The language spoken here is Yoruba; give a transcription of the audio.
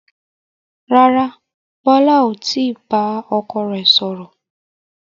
Rárá, Bọlá ò tí bá ọkọ rẹ sọ̀rọ̀